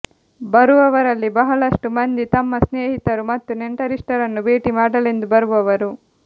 ಬರುವವರಲ್ಲಿ ಬಹಳಷ್ಟು ಮಂದಿ ತಮ್ಮ ಸ್ನೇಹಿತರು ಮತ್ತು ನೆಂಟರಿಷ್ಟರನ್ನು ಭೇಟಿ ಮಾಡಲೆಂದು ಬರುವವರು